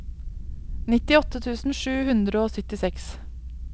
nittiåtte tusen sju hundre og syttiseks